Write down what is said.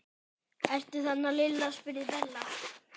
Ertu þarna Lilla? spurði Bella.